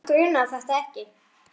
Hana grunaði þetta ekki.